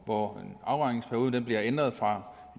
hvor afregningsperioden bliver ændret fra